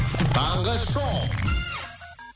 таңғы шоу